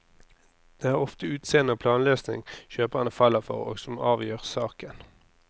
Det er ofte utseende og planløsning kjøperne faller for, og som avgjør saken.